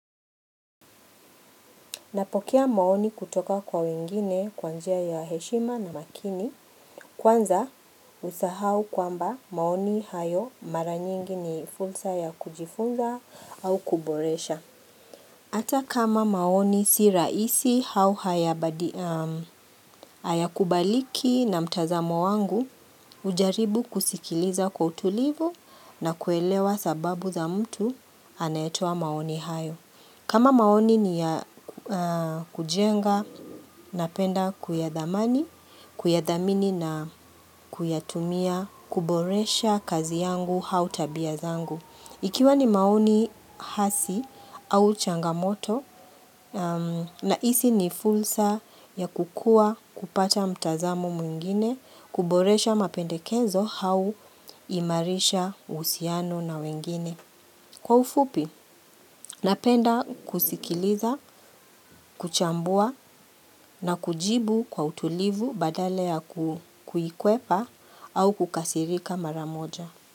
Napokea maoni kutoka kwa wengine kwa njia ya heshima na makini. Kwanza, usisahau kwamba maoni hayo mara nyingi ni fursa ya kujifunza au kuboresha. Ata kama maoni si rahisi au haya kubaliki na mtazamo wangu, hujaribu kusikiliza kwa utulivu na kuelewa sababu za mtu anayetoa maoni hayo. Kama maoni ni ya kujenga, napenda kuyadhamani, kuyadhamini na kuyatumia, kuboresha kazi yangu au tabia zangu. Ikiwa ni maoni hasi au changamoto, na hisi ni fursa ya kukuwa kupata mtazamo mwingine, kuboresha mapendekezo au kuimarisha uhusiano na wengine. Kwa ufupi, napenda kusikiliza, kuchambua na kujibu kwa utulivu badala ya kuikuepa au kukasirika maramoja.